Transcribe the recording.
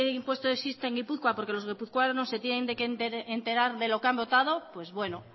impuesto existe en gipuzkoa porque los guipuzcoanos se tienen que enterar de lo que han votado pues bueno